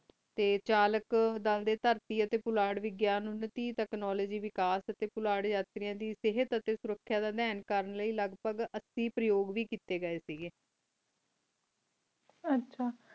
T ਚਾਲਾਕ਼ ਦਲ ਡੀ ਤੈਰਤੀ ਆ ਟੀ ਪੋਲਟ ਵ ਗਿਆ ਨਾਤੀਰ ਤਕ ਵ ਕ੍ਨੋਵ੍ਲਾਗੇ ਵ ਕਾਸ੍ਟ ਕੋਲਾਰੀ ਅਰ੍ਤੀਯ ਦੀ ਸੇਯ੍ਹਤ ਆ ਤ੍ਯ੍ਖਾਰੁਕ੍ਯ ਦੀ ਬੀਨ ਕਰ ਲੀ ਅਲਗ ਪਰ ਅਸੀਂ ਪੇਰ੍ਯੂਬ ਵ ਕੀਤੀ ਗਾਏ ਕ ਆਚਾ